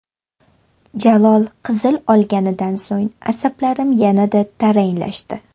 Jalol qizil olganidan so‘ng asablarim yanada taranglashdi.